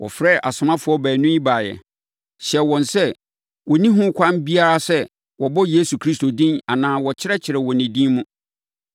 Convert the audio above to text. Wɔfrɛɛ asomafoɔ baanu yi baeɛ, hyɛɛ wɔn sɛ wɔnni ho kwan biara sɛ wɔbɔ Yesu Kristo din anaa wɔkyerɛkyerɛ wɔ ne din mu.